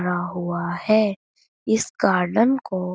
हुआ है। इस गार्डन को --